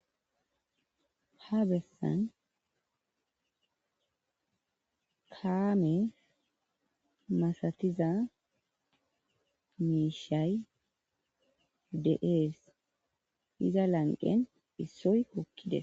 ha bessan kaame masatiza miishay de7ees iza lanqen issoy kokkide